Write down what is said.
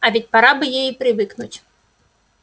а ведь пора бы ей и привыкнуть